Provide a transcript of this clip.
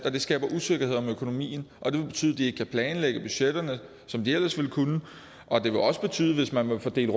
og det skaber usikkerhed om økonomien det vil betyde at de ikke kan planlægge budgetterne som de ellers ville kunne og det vil også betyde at hvis man vil fordele